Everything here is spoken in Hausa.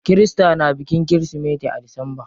Kirista na bikin kirismeti a disamba.